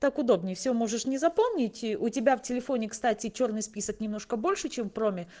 так удобнее всё можешь не запомнить у тебя в телефоне кстати чёрный список немножко больше чем в проме